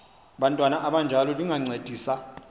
bantwana abanjalo lingancedisa